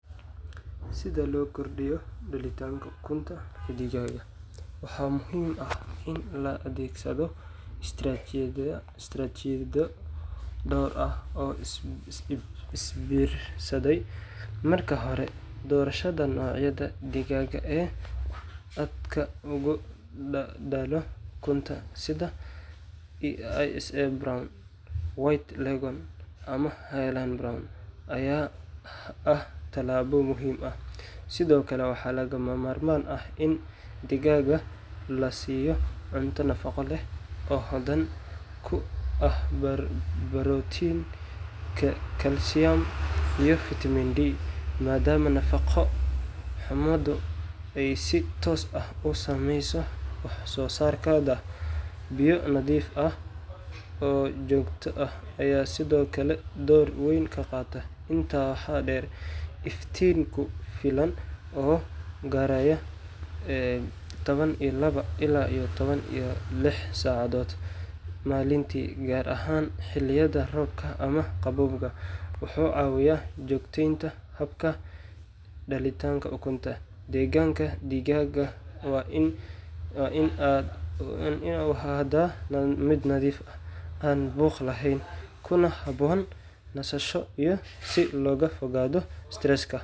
Si loo kordhiyo dhalitaanka ukunta ee digaagga, waxaa muhiim ah in la adeegsado istaraatijiyado dhowr ah oo isbiirsaday. Marka hore, doorashada noocyada digaagga ee aadka u dhalo ukunta sida ISA Brown, White Leghorn, ama Hy-Line Brown ayaa ah tallaabo muhiim ah. Sidoo kale, waxaa lagama maarmaan ah in digaagga la siiyo cunto nafaqo leh oo hodan ku ah borotiin, kalsiyum, iyo vitamin D, maadaama nafaqo-xumadu ay si toos ah u saameyso wax-soo-saarkooda. Biyo nadiif ah oo joogto ah ayaa sidoo kale door weyn ka qaata. Intaa waxaa dheer, iftiin ku filan oo gaaraya toban iyo labo ilaa toban iyo lix saacadood maalintii, gaar ahaan xilliyada roobka ama qaboobaha, wuxuu caawiyaa joogtaynta habka dhalidda ukunta. Deegaanka digaagga waa in uu ahaadaa mid nadiif ah, aan buuq lahayn, kuna habboon nasasho si looga fogaado stresska.